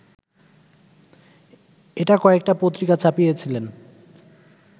এটা কয়েকটা পত্রিকা ছাপিয়েছিলেন